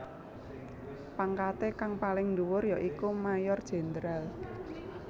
Pangkaté kang paling dhuwur ya iku Mayor Jenderal